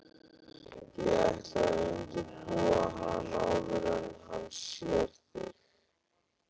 Ég ætla að undirbúa hann áður en hann sér þig